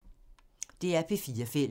DR P4 Fælles